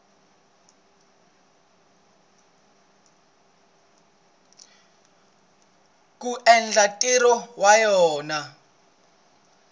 ku endla ntirho wa yona